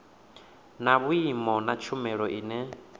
na vhui na tshumelo ine